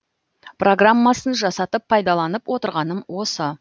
программасын жасатып пайдаланып отырғаным осы